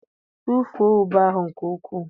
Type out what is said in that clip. Tụfuo ube ahụ nke ukwuu